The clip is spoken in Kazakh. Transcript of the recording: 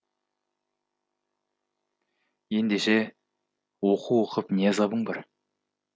ендеше оқу оқып не азабың бар